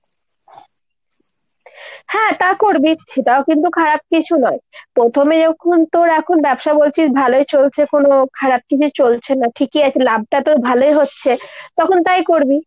হ্যাঁ তা করবি সেটাও কিন্তু খারাপ কিছু নয়। পোথমে যখন তোর এখন ব্যবসা বলছিস ভালোই চলছে কোনো খারাপ কিছু চলছে না, ঠিকই আছে লাভটা তোর ভালোই হচ্ছে তখন তাই করবি।